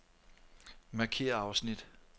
Markér afsnit.